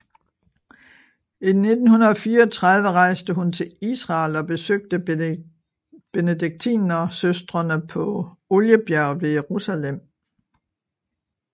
I 1964 rejste hun til Israel og besøgte Benediktinersøstrene på Oliebjerget ved Jerusalem